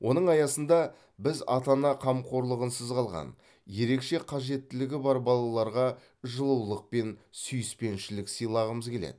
оның аясында біз ата ана қамқорлығынсыз қалған ерекше қажеттілігі бар балаларға жылулық пен сүйіспеншілік сыйлағымыз келеді